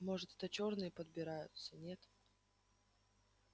может это чёрные подбираются нет